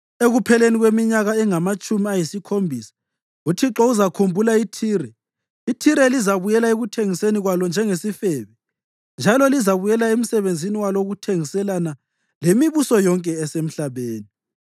Ekupheleni kweminyaka engamatshumi ayisikhombisa uThixo uzakhumbula iThire. IThire lizabuyela ekuthengiseni kwalo njengesifebe, njalo lizabuyela emsebenzini walo wokuthengiselana lemibuso yonke esemhlabeni.